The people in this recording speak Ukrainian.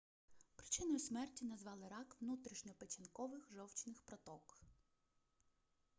причиною смерті назвали рак внутрішньопечінкових жовчних проток